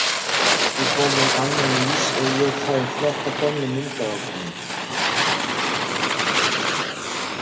Við borðum annan ís og ég fæ að fletta gömlum myndaalbúmum.